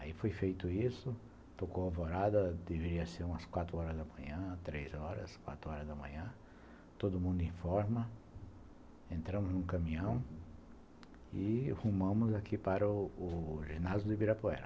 Aí foi feito isso, tocou a alvorada, deveria ser umas quatro horas da manhã, três horas, quatro horas da manhã, todo mundo em forma, entramos no caminhão e rumamos aqui para o o ginásio do Ibirapuera.